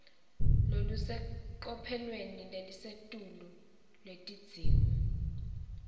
lolusecophelweni lelisetulu lwetidzingo